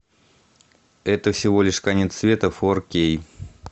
это всего лишь конец света фор кей